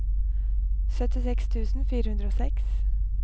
syttiseks tusen fire hundre og seks